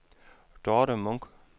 Dorthe Munch